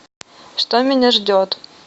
что меня ждет